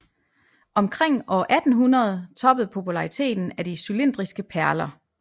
Omkring år 1800 toppede populariteten af de cylindriske perler